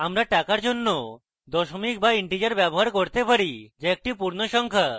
আমরা টাকার জন্য দশমিক বা integer ব্যবহার করতে পারি যা একটি পূর্ণ সংখ্যা